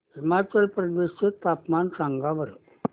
हिमाचल प्रदेश चे तापमान सांगा बरं